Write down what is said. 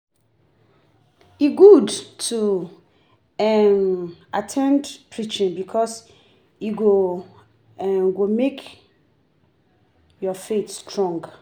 E good to um at ten d preaching bikus e um go mek yur faith strong.